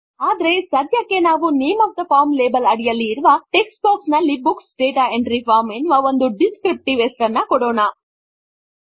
ಆದರೆ ಸಧ್ಯಕ್ಕೆ ನಾವು name of the form label ಅಡಿಯಲ್ಲಿ ಇರುವ ಟೆಕ್ಸ್ಟ್ ಬಾಕ್ಸ್ ನಲ್ಲಿ ಬುಕ್ಸ್ ಡಾಟಾ ಎಂಟ್ರಿ ಫಾರ್ಮ್ ಎನ್ನುವ ಒಂದು ಡಿಸ್ಕ್ರಿಪ್ಟಿವ್ ಹೆಸರನ್ನು ಕೊಡೋಣ